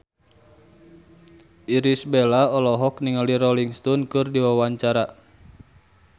Irish Bella olohok ningali Rolling Stone keur diwawancara